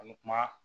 An bɛ kuma